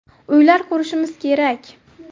Uylar qurishimiz kerak.